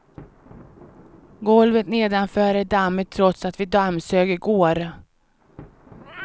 Golvet nedanför är dammigt trots att vi dammsög i går.